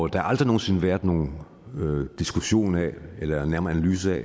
der har aldrig nogen sinde været nogen diskussion af eller en nærmere analyse af